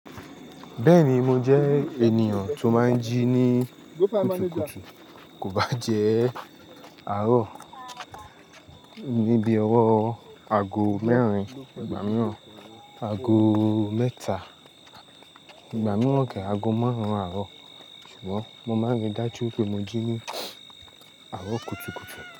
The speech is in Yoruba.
Bẹ́ẹ̀ni, mo jẹ́ ènìyàn tó máa ń jí ní kùtùkùtù, kò bá jẹ́ àárọ̀ ní bí ọwọ́ aago mẹ́rin, ìgbà mìíràn aago mẹ́ta, ìgbà mìíràn kẹ̀ẹ̀ aago márùn-ún àárọ̀. Ṣùgbọ́n, mo máa ń rí i dájú pé mo jí ní àárọ̀ kùtùkùtù.